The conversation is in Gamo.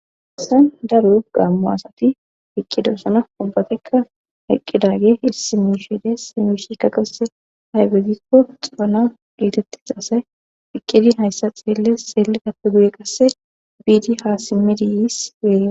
Hayisani darro gammo assati eqidosona ubatika eqidaget issi mishay dessi he mishai ayibe gikko cammo gettetidasa eqidi hayisa hesika ayibe getetides eqidi hayissa xelidappe guye bid ha guye simid yiss